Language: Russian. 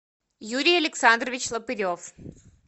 юрий александрович лопырев